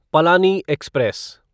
Palani express